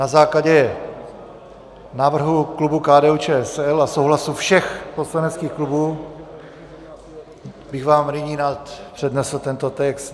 Na základě návrhu klubu KDU-ČSL a souhlasu všech poslaneckých klubů bych vám nyní rád přednesl tento text: